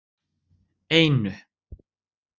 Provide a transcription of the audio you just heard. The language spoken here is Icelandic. einu